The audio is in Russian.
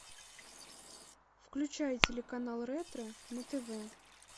включай телеканал ретро на тв